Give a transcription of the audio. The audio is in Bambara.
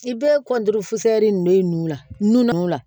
I bɛ kɔntoli nin de ye nu na n'u la